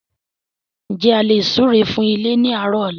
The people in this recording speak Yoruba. N jẹ́ a lè súre fún ilé ni àárọ̀ ọ̀la?